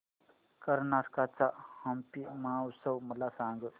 कर्नाटक चा हम्पी महोत्सव मला सांग